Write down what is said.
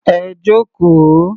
Ẹ jókòó.